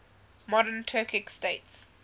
modern turkic states